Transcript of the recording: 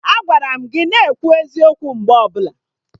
Agwara m gị na-ekwu eziokwu mgbe ọbụla!